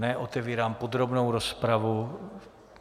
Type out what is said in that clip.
Otevírám podrobnou rozpravu.